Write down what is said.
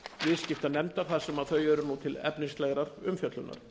viðskiptanefndar þar sem þau eru nú til efnislegrar umfjöllunar